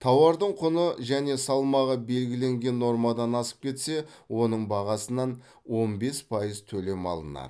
тауардың құны және салмағы белгіленген нормадан асып кетсе оның бағасынан он бес пайыз төлем алынады